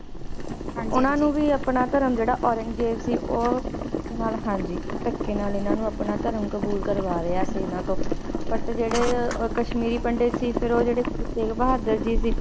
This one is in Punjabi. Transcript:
ਹਾਂਜੀ ਓਹਨਾ ਨੂੰ ਵੀ ਆਪਣਾ ਧਰਮ ਜਿਹੜਾ ਔਰੰਗਜੇਬ ਸੀ ਓ ਓਹਨਾ ਨਾਲ ਹਾਂਜੀ ਥਕੇ ਨਾਲ ਇਹਨਾਂ ਨੂੰ ਆਪਣਾ ਧਰਮ ਕਬੂਲ ਕਰਵਾ ਰਿਹਾ ਸੀ ਇਹਨਾਂ ਤੋਂ But ਜਿਹੜੇ ਕਸ਼ਮੀਰੀ ਪੰਡਿਤ ਸੀ ਫਿਰ ਜਿਹੜੇ ਉਹ ਗੁਰੂ ਤੇਗ ਬਹਾਦਰ ਜੀ ਸੀ